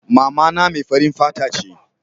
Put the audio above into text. mamana mai farin fata ce